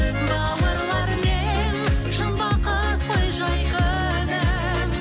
бауырлармен шын бақыт қой жай күнім